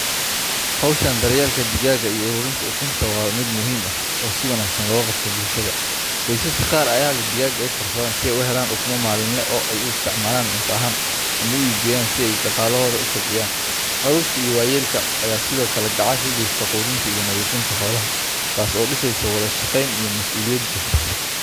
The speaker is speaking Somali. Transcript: Hawsha daryeelka digaagga iyo ururinta ukunta waa mid muhiim ah oo si wanaagsan looga qabto bulshada. Qoysaska qaar ayaa leh digaag ay korsadaan si ay u helaan ukumo maalinle ah oo ay u isticmaalaan cunto ahaan ama u iibgeeyaan si ay dhaqaalahooda u kobciyaan. Carruurta iyo waayeelka ayaa sidoo kale gacan ka geysta quudinta iyo nadiifinta xoolaha, taas oo dhisaysa wada shaqayn iyo mas’uuliyad bulsho.